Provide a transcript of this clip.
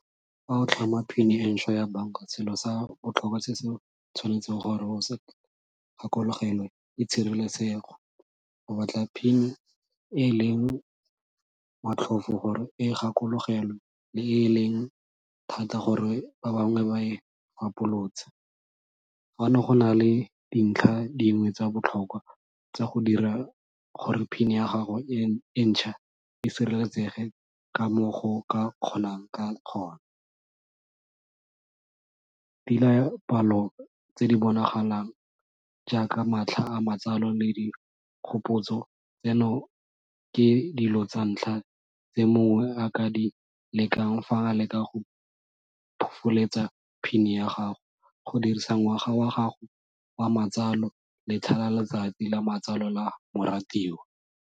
Fa o tlhama PIN e ntšhwa ya banka, selo sa botlhokwa se se tshwanetseng gore o sa gakologelwe ke tshireletsego. Go batla PIN e e leng motlhofo gore o e gakologelwe, le e leng thata gore ba bangwe ba e . Fano go na le dintlha dingwe tsa botlhokwa tsa go dira gore PIN ya gago e ntšhwa e sireletsege ka mo go ka kgonang ka gona. tse di bonagalang jaaka matlha a matsalo le dikgopotso tseno, ke dilo tsa ntlha tse mongwe a ka a di lekang fa nka leka go PIN ya gago go dirisa ngwaga wa gago wa matsalo letlha letsatsi la matsalo la moratiwa.